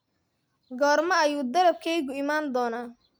goorma ayuu dalabkaygu ii iman doonaa